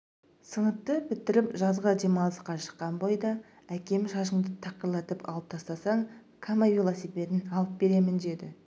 сыныпты бітіріп жазғы демалысқа шыққан бойда әкем шашыңды тақырлатып алып тастасаң кама велосипедін алып беремін деді